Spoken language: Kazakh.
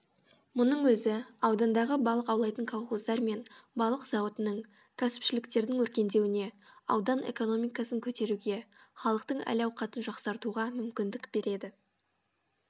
мұның өзі аудандағы балық аулайтын колхоздар мен балық зауытының кәсіпшіліктердің өркендеуіне аудан экономикасын котеруге халықтың әл ауқатын жақсартуға мүмкіндік береді